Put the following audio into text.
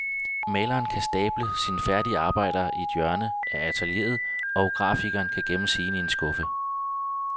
Maleren kan stable sine færdige arbejder i et hjørne af atelieret, og grafikeren kan gemme sine i en skuffe.